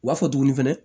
U b'a fɔ tuguni fɛnɛ